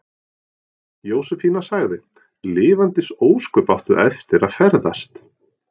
Jósefína sagði: Lifandis ósköp áttu eftir að ferðast.